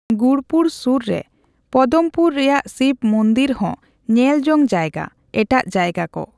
ᱜᱩᱬᱯᱩᱨ ᱥᱩᱨ ᱨᱮ ᱯᱚᱫᱚᱢᱯᱩᱨ ᱨᱮᱭᱟᱜ ᱥᱤᱵᱚ ᱢᱩᱸᱫᱽᱨᱤ ᱦᱚᱸ ᱧᱮᱞ ᱡᱚᱝ ᱡᱟᱭᱜᱟ ᱾ ᱮᱴᱟᱜ ᱡᱟᱭᱜᱟ ᱠᱚ᱾